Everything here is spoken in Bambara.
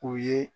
U ye